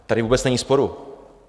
Tady vůbec není sporu.